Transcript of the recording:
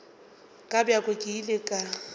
ka bjako ke ile ka